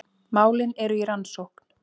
Málin eru í rannsókn